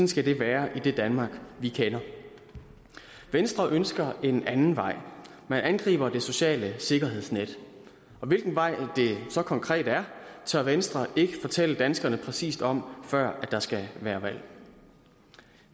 skal det være i det danmark vi kender venstre ønsker en anden vej man angriber det sociale sikkerhedsnet og hvilken vej det så konkret er tør venstre ikke fortælle danskerne præcist om før der skal være valg